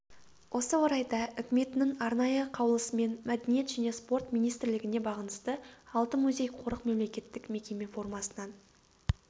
осы орайда үкіметінің арнайы қаулысымен мәдениет және спорт министрлігіне бағынысты алты музей-қорық мемлекеттік мекеме формасынан